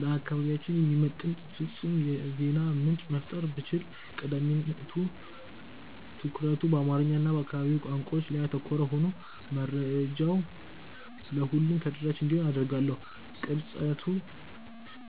ለአካባቢያችን የሚመጥን ፍጹም የዜና ምንጭ መፍጠር ብችል፣ ቀዳሚ ትኩረቱ በአማርኛ እና በአካባቢው ቋንቋዎች ላይ ያተኮረ ሆኖ መረጃው ለሁሉም ተደራሽ እንዲሆን አደርጋለሁ። ቅርጸቱ